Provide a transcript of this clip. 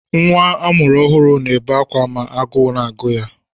Nwa amụrụ ọhụrụ na-ebe akwa ma agụụ na-agụ ya.